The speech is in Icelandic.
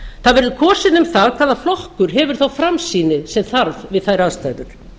það verður kosið um það hvaða flokkur hefur þá framsýni sem þarf við þær aðstæður